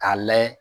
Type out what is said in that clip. K'a layɛ